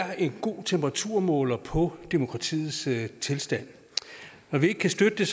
er en god temperaturmåler på demokratiets tilstand når vi ikke kan støtte